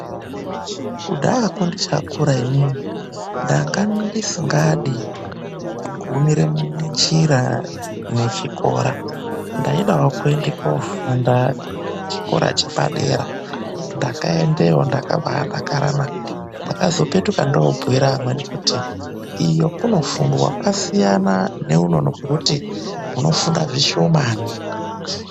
Kudhayako ndichakura inini, ndanga ndisingadi kugumira munjira nechikora. Ndaidawo kuende koofunda kuchikora chepadera. Ndakaendeyo ndakabaadakarana. Ndakazopetuka ndobhuyira amweni kuti iyo kunofundwa, kwasiyana neuno kwokuti kunofundwa zvishoma.